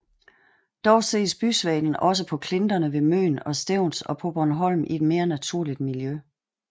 Dog ses bysvalen også på klinterne ved Møn og Stevns og på Bornholm i et mere naturligt miljø